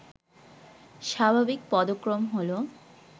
স্বাভাবিক পদক্রম হল